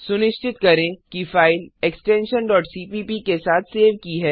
सुनिश्चित करें कि फाइल एक्सटेंशन cpp के साथ सेव की है